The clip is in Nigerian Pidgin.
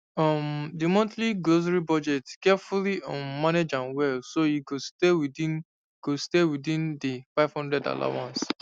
um di montly grocery budget carefully um manage am well so e go stay within go stay within di five hundred allowance